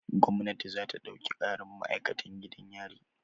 Gwamnati za ta ɗauki ƙarin ma'akatan gidan yari.